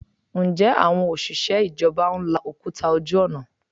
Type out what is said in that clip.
Ǹjẹ́ àwọn òṣìṣẹ́ ìjọba ń la òkúta ojú ọ̀nà?